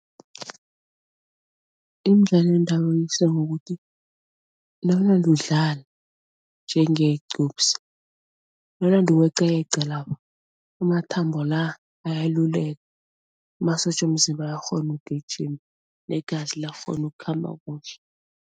Imidlalo yendabuko ngokuthi nawunanda udlala njengegqubsi, nawunande uyeqayeqa lapha, amathambo la ayalaluleka, amasotja womzimba ayakghona ukugijima negazi liyakghona ukukhamba kuhle.